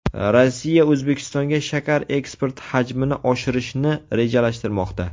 Rossiya O‘zbekistonga shakar eksporti hajmini oshirishni rejalashtirmoqda.